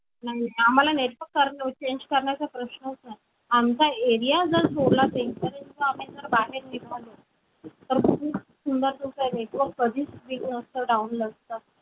आम्हाला network change करण्याचा प्रश्नच नाही आमचा area जर सोडला तर आम्ही जर बाहेर निघालो तर खूप सुंदर network कधीच weak नसतं down नसतं